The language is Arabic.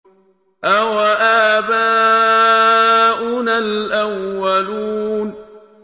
أَوَآبَاؤُنَا الْأَوَّلُونَ